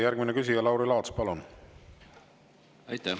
Järgmine küsija Lauri Laats, palun!